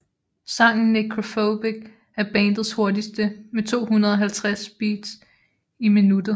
Sangen Necrophobic er bandets hurtigste med 250 beats i minuttet